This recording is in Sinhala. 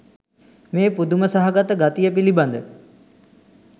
මේ පුදුම සහගත ගතිය පිළිබඳ